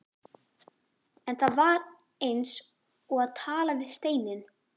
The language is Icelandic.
En það var eins og að tala við steininn.